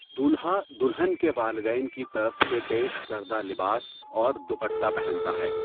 دولہا دلہن کے والدین کی طرف سے پیش کردہ لباس اور دپٹہ پہنتا ہے۔